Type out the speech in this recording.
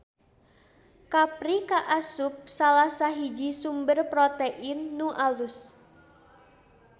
Kapri kaasup salasahiji sumber protein nu alus.